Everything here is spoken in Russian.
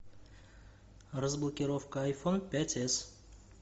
разблокировка айфон пять с